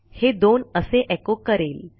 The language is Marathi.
हे 2 असे एचो करेल